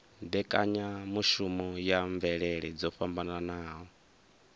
mbekanyamushumo ya mvelele dzo fhambanaho